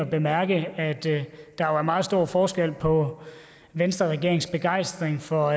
at bemærke at der er meget stor forskel på venstreregeringens begejstring for